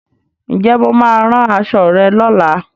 Ǹjẹ́ Mo máa rán aṣọ rẹ lola